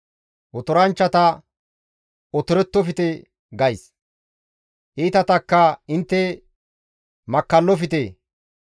Otoranchchata, ‹Otorettofte› gays; iitatakka, ‹Intte makkallofte.